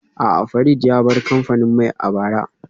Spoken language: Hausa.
A'a, Farid ya bar kamfanin mai a bara